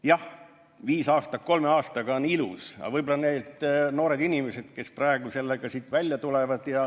Jah, viis aastat kolme aastaga on ilus ja võib-olla need on noored inimesed, kes praegu sellega siin välja tulevad.